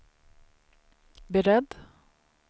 beredd